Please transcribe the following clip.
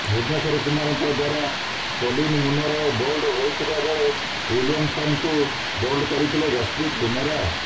ଭୁବନେଶ୍ୱର କୁମାରଙ୍କ ଦ୍ୱାରା Colin Munro bowled ହୋଇଥିବା ବେଳେ ଓ୍ବିଲିୟମସନ୍ଙ୍କୁ ବୋଲ୍ଡ କରିଥିଲେ ଯଶପ୍ରିତ ବୁମରା